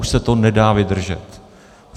Už se to nedá vydržet.